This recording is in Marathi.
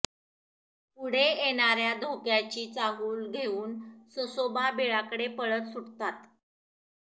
पुढे येणाऱ्या धोक्याची चाहूल घेऊन ससोबा बिळाकडे पळत सुटतात